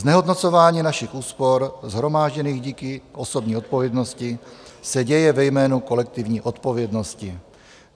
Znehodnocování našich úspor, shromážděných díky osobní odpovědnosti, se děje ve jménu kolektivní odpovědnosti.